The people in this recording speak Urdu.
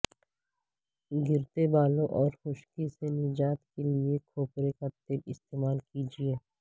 گرتے بالوں اور خشکی سے نجات کے لیے کھوپرے کا تیل استعمال کیجئیے